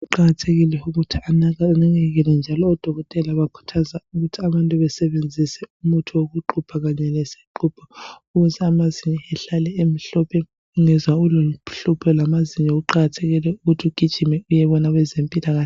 Kuqakathekile ukuthi anakekelwe amazinyo njalo odokotela bakhuthaza abantu ukuthi basebenzise umuthi wokuxubha kanye lesixubho ukuthi amazinyo ehlale emhlophe ungezwa ulohlupho lwamazinyo kuqakathekile ukuthi ugijime uyebona abezempilakahle.